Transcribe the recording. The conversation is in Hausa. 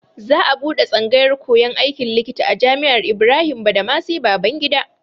Za a buɗe tsangayar koyan aikin likita a Jami'ar Ibrahim Badamasi Babangida.